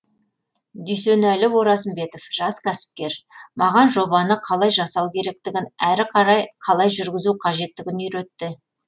дүйсенәлі оразымбетов жас кәсіпкер маған жобаны қалай жасау керектігін әрі қарай қалай жүргізу қажеттігін үйретті